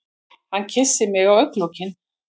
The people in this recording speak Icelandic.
Hann kyssir mig á augnalokin.